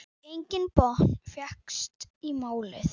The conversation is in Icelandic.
Enginn botn fékkst í málið.